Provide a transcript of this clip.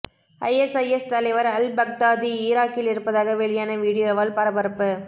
ISIS தலைவர் al Baghdadi ஈராக்கில் இருப்பதாக வெளியான வீடியோவால் பரபரப்பு